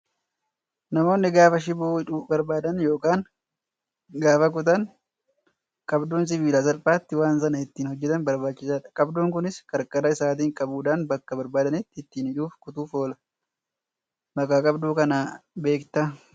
Namoonni gaafa shiboo hidhuu barbaadan yookaan gaafa kutan qabduun sibiilaa salphaatti waan sana ittiin hojjatan barbaachisaadha. Qabduun kunis qarqara isaatiin qabuudhaan bakka barbaadanitti ittiin hidhuufi kutuuf oola. Maqaa qabduu kanaa beektaa?